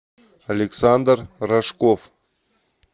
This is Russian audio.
александр рожков